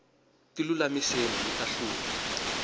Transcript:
tilulamiseni mita hlula